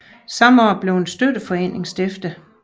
Samme år blev en støtteforening stiftet